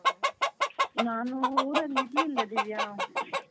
ನಾನು ಊರಲ್ಲಿ ಇರ್ಲಿಲ್ಲ ದಿವ್ಯಾ .